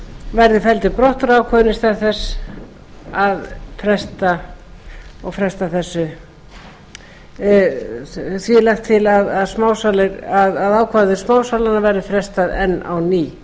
verði felldir brott úr ákvæðinu og því er lagt til að ákvæði smásalana verði frestað enn á ný